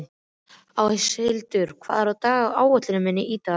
Áshildur, hvað er á áætluninni minni í dag?